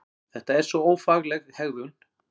Þetta er svo ófagleg hegðun!